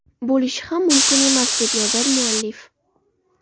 Bo‘lishi ham mumkin emas”, deb yozadi muallif.